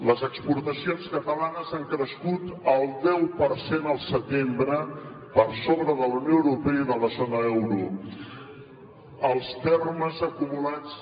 les exportacions han crescut el deu per cent al setembre per sobre de la unió europea i de la zona euro els termes acumulats